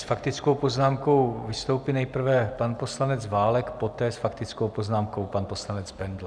S faktickou poznámkou vystoupí nejprve pan poslanec Válek, poté s faktickou poznámkou pan poslanec Bendl.